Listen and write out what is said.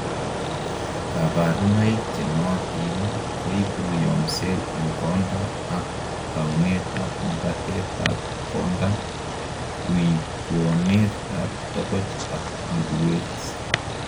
kaborunoik chenootin koibu yomset en konda ak twounet ab makatet ab konda, twoitwounet ab togoch ak luguwet